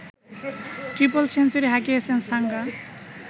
triple century হাঁকিয়েছেন সাঙ্গা